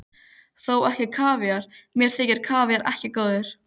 Þó ekki kavíar, mér þykir kavíar ekki góður.